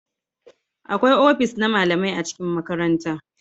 Akwai ofis na malamai a cikin makaranta